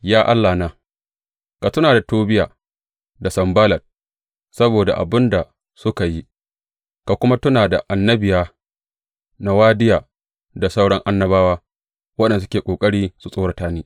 Ya Allahna, ka tuna da Tobiya da Sanballat, saboda abin da suka yi; ka kuma tuna da annabiya Nowadiya da sauran annabawa waɗanda suke ƙoƙari su tsorata ni.